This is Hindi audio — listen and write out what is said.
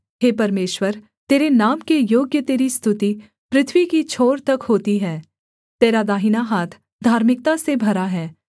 हे परमेश्वर तेरे नाम के योग्य तेरी स्तुति पृथ्वी की छोर तक होती है तेरा दाहिना हाथ धार्मिकता से भरा है